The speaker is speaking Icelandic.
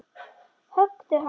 Höggðu hann!